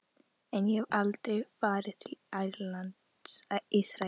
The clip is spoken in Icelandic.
En ég hef aldrei farið til Ísraels.